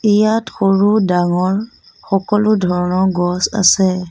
ইয়াত সৰু ডাঙৰ সকলো ধৰণৰ গছ আছে।